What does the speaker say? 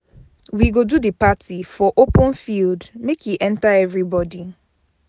We go do di party for open field make e enta everybodi